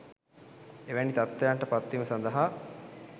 එවැනි තත්ත්වයන්ට පත්වීම සඳහා